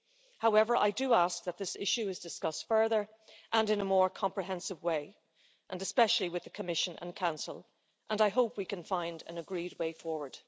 However, I do ask that this issue is discussed further and in a more comprehensive way, and especially with the Commission and Council, and I hope we can find an agreed way forward.